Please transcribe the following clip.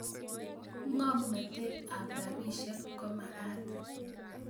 Ngomnatet ab rabisek komakat